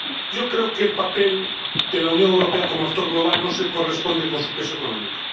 Yo creo que el papel de la Unión Europea como actor global no se corresponde con su peso económico.